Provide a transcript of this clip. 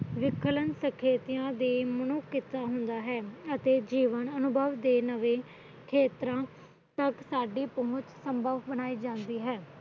ਵਿਖਲਣ ਸਕੇਤਿਆਂ ਤੇ ਮਨੁਖਸ ਹੁੰਦਾ ਹੈ ਅਤੇ ਜੀਵਨ ਅਨੁਭਵ ਦੇ ਨਵੇ ਖੇਤਰਾਂ ਤੱਕ ਸਾਡੀ ਪਹੁਚ ਸੰਭਵ ਬਣਾਈ ਜਾਂਦੀ ਹੈ